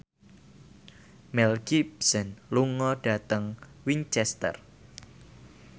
Mel Gibson lunga dhateng Winchester